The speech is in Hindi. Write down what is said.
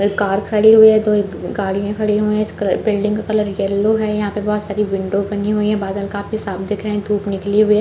एक कार खड़ी हुई है दो एक गाड़ियां खड़ी हुई है इसके बिल्डिंग का कलर येलो है यहाँ पे बोहोत सारी विंडो बनी हुई है बादल काफी साफ़ दिख रहे है धुप निखली हुई है।